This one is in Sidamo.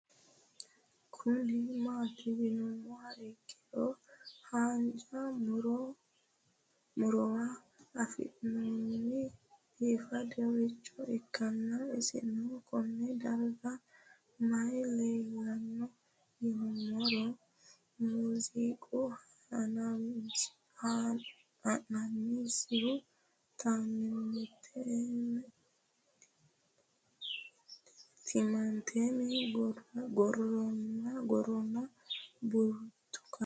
Kuni mati yinumoha ikiro hanja murowa afine'mona bifadoricho ikana isino Kone darga mayi leelanno yinumaro muuze hanannisu timantime gooranna buurtukaane